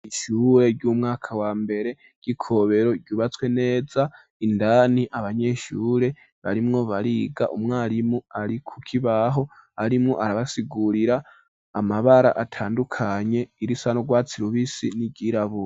Ishure ry'umwaka wa mbere y'Ikobero ryubatswe neza, indani abanyeshure barimwo bariga, umwarimu ari kukibaho arimwo arabasigurira amabara atandukanye irisa n'urwatsi rubisi n'iryirabure.